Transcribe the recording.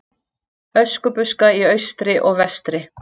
Öskubuska í austri og vestri.